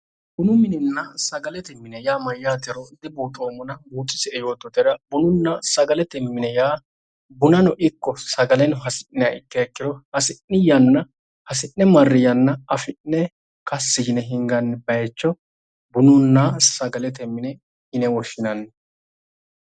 Bunu minenna sagalete mine yaa mayyaatero dibuuxoommona buuxisie yoottotera bununna sagalete mine yaa bunano ikko sagaleno hasi'niha ikkiha ikkiro, hasi'ni yanna hasi'ne marri yanna kassi yine hinganni baayiicho bununna sagalete mine yine woshshinanni.